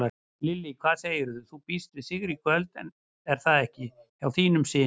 Lillý: Hvað segirðu, þú býst við sigri í kvöld er það ekki hjá þínum syni?